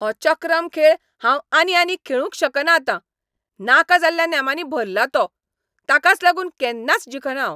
हो चक्रम खेळ हांव आनी आनी खेळूंक शकना आतां. नाका जाल्ल्या नेमांनी भरला तो. ताकाच लागून केन्नाच जिखना हांव.